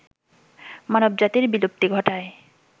মানবজাতির বিলুপ্তি ঘটায়